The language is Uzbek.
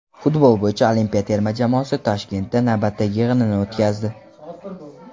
Futbol bo‘yicha olimpiya terma jamoasi Toshkentda navbatdagi yig‘inini o‘tkazdi.